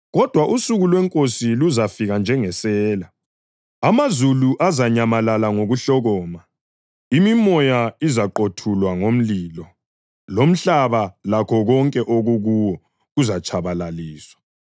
Kodwa usuku lweNkosi luzafika njengesela. Amazulu azanyamalala ngokuhlokoma; imimoya izaqothulwa ngomlilo, lomhlaba lakho konke okukuwo kuzatshabalaliswa.